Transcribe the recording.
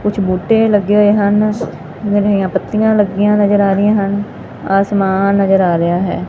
ਕੁਝ ਬੂਟੇ ਲੱਗੇ ਹੋਏ ਹਨ ਪੱਤੀਆਂ ਲੱਗੀਆਂ ਨਜ਼ਰ ਆ ਰਹੀਆਂ ਹਨ ਅਸਮਾਨ ਨਜ਼ਰ ਆ ਰਿਹਾ ਹੈ।